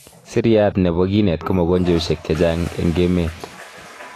seriat nebo kinet komogonjweshek chechang eng emet